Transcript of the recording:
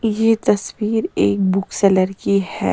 ये तस्वीर एक बुक सेलर की है।